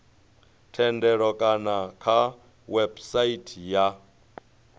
thendelo kana kha website ya